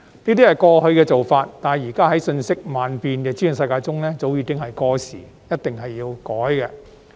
那是過去的做法，但在現時瞬息萬變的資訊世界中早已過時，一定要改。